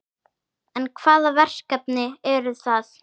En hvaða verkefni eru það?